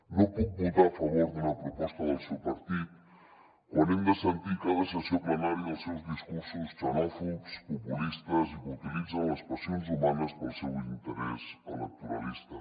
no puc votar a favor d’una proposta del seu partit quan hem de sentir a cada ses·sió plenària els seus discursos xenòfobs populistes i que utilitzen les passions hu·manes per al seu interès electoralista